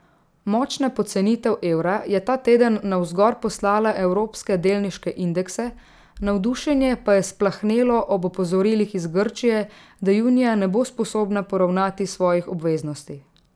Močna pocenitev evra je ta teden navzgor poslala evropske delniške indekse, navdušenje pa je splahnelo ob opozorilih iz Grčije, da junija ne bo sposobna poravnati svojih obveznosti.